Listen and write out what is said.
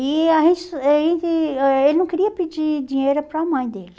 E eh ele não queria pedir dinheiro para a mãe dele.